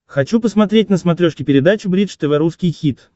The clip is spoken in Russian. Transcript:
хочу посмотреть на смотрешке передачу бридж тв русский хит